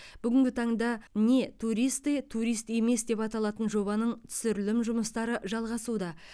бүгінгі таңда не туристы турист емес деп аталатын жобаның түсірілім жұмыстары жалғасуда